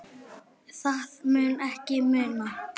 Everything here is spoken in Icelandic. Það mun ég muna.